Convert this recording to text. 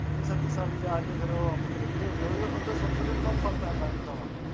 ਪੰਜੀ ਸੱਤੀ ਸਾਲੀਂ ਜਾ ਕੇ ਫੇਰ ਉਹ ਅੰਬ ਕਿੱਡੇ ਕਿੱਡੇ ਹੋ ਗਏ ਉਦ ਉਦੋਂ ਛੋਟੇ ਛੋਟੇ ਹੁੰਦੇ ਅੰਬਾ ਨੂੰ ਫਲ ਪੈਂਦਾ ਰਹਿੰਦਾ ਵਾ